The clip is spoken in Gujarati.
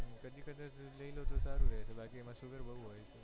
કદી કદાચ લાલ તો સારું હોય છે બાકી એમાં sugar બોજ હોય છે